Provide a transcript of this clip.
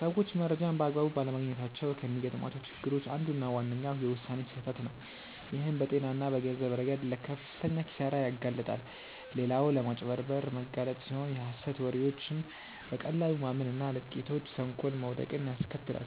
ሰዎች መረጃን በአግባቡ ባለማግኘታቸው ከሚገጥሟቸው ችግሮች አንዱና ዋነኛው የውሳኔ ስህተት ነው፣ ይህም በጤና እና በገንዘብ ረገድ ለከፍተኛ ኪሳራ ያጋልጣል። ሌላው ለማጭበርበር መጋለጥ ሲሆን የሀሰት ወሬዎችን በቀላሉ ማመን እና ለጥቂቶች ተንኮል መውደቅን ያስከትላል።